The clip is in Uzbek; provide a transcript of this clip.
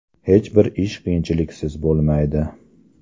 Hech bir ish qiyinchiliksiz bo‘lmaydi.